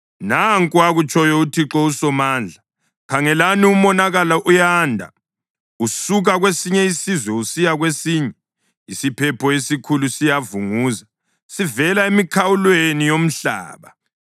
Nanku akutshoyo uThixo uSomandla: “Khangelani! Umonakalo uyanda usuka kwesinye isizwe usiya kwesinye; isiphepho esikhulu siyavunguza sivela emikhawulweni yomhlaba.”